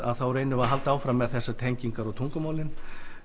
reynum við halda áfram með þessar tengingar og tungumálin